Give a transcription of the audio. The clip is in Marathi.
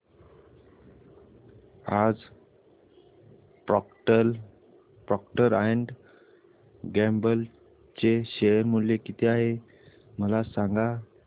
आज प्रॉक्टर अँड गॅम्बल चे शेअर मूल्य किती आहे मला सांगा